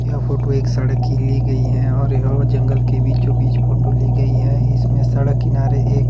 यह फोटो एक सड़क की ली गई है और यह वो जंगल के बीचो बीच फोटो ली गई है इसमें सड़क किनारे एक--